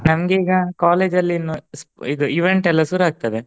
ನಂಗ ಈಗಾ college ಅಲ್ಲಿ ಇನ್ನು ಇದು event ಎಲ್ಲಾ ಶುರು ಆಗ್ತದೆ